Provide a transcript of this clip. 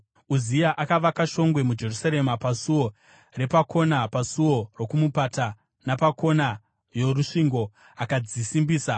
Uzia akavaka shongwe muJerusarema paSuo Repakona, paSuo Rokumupata, napakona yorusvingo, akadzisimbisa.